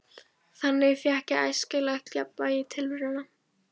Þannig fékk ég æskilegt jafnvægi í tilveruna.